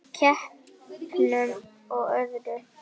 Bæði í keppnum og öðru.